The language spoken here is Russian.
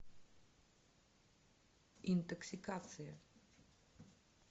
интоксикация